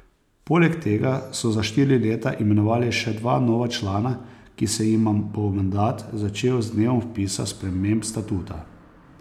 Poleg tega so za štiri leta imenovali še dva nova člana, ki se jima bo mandat začel z dnem vpisa sprememb statuta.